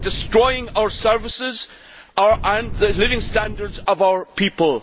You are destroying our services and the living standards of our people.